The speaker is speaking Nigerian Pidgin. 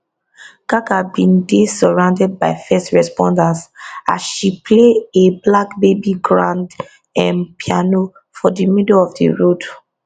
gaga bin dey surrounded by first responders as she play a black baby grand um piano for di middle of di road